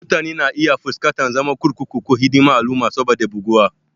Mutane na iya fuskantar zaman kurkuku ko hidimar al'umma saboda buguwa.